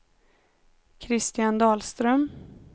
Christian Dahlström